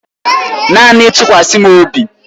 Naanị tụkwasa m obi.